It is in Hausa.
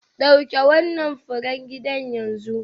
Dauki wannan furen gida yanzu.